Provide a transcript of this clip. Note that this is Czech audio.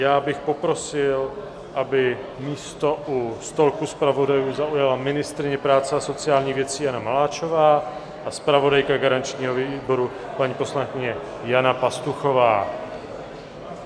Já bych poprosil, aby místo u stolku zpravodajů zaujala ministryně práce a sociálních věcí Jana Maláčová a zpravodajka garančního výboru, paní poslankyně Jana Pastuchová.